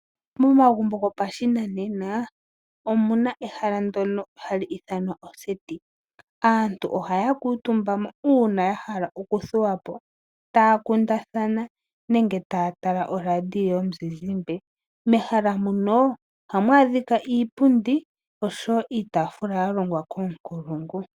Momagumbo gopashinanena omu na ehala ndyono hali ithanwa oseti. Aantu ohaya kuutumba mo uuna ya hala okuthuwa po taya kundathana nenge taya tala oradio yomuzizimba. Mehala muno ohamu adhika iipundi noshowo iitaafula ya longwa koonkulungu.